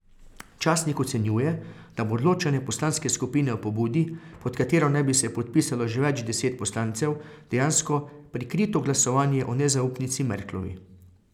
Slovenski kanuist Luka Božič ima za sabo že dve veliki tekmovanji, pa se je sezona praktično komaj začela.